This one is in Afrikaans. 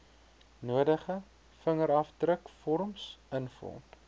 nodige vingerafdrukvorms invul